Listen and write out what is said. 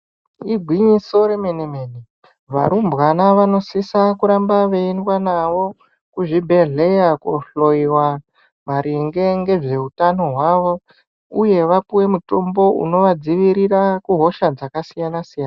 Igwinyiso remene-mene ,varumbwana vanosisa kuramba veyiyendwa navo kuzvibhedhleya kohloyiwa maringe ngezveutano hwavo, uye vapuwe mitombo unovadzivirira kuhosha dzakasiyana -siyana.